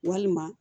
Walima